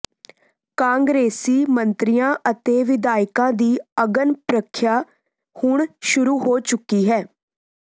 ਕਾਂਗਰਸੀ ਮੰਤਰੀਆਂ ਅਤੇ ਵਿਧਾਇਕਾਂ ਦੀ ਅਗਨ ਪ੍ਰਰੀਖਿਆ ਹੁਣ ਸ਼ੁਰੂ ਹੋ ਚੁੱਕੀ ਹੈ